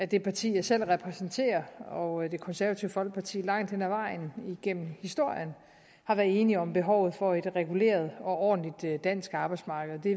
det parti jeg selv repræsenterer og det konservative folkeparti langt hen ad vejen igennem historien har været enige om behovet for et reguleret og ordentligt dansk arbejdsmarked det